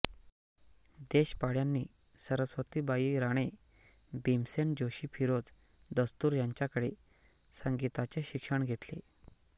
देशपांड्यांनी सरस्वतीबाई राणे भीमसेन जोशी फिरोज दस्तूर यांच्याकडे संगीताचे शिक्षण घेतले